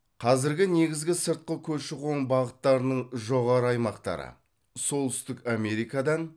қазіргі негізгі сыртқы көші қоң бағыттарының жоғары аймақтары солтүстік америкадан